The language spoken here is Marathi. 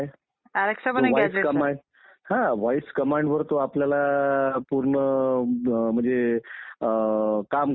तिकडे तर हुकूमशाही प्रवृत्तीचे लोक होते परंतु आपल्या देशात बुद्ध काळात खऱ्या अर्थाने लोकशाही प्रवृत्ती